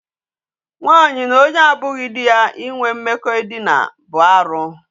Nwaanyị na onye abụghị di ya inwe mmekọ edina bụ arụ.